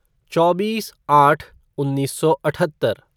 चौबीस आठ उन्नीस सौ अठहत्तर